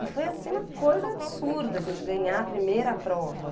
E foi assim uma coisa absurda a gente ganhar a primeira prova.